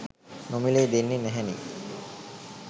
නොමිලේ දෙන්නෙ නැහැනෙ.